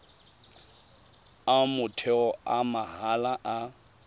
a motheo a mahala a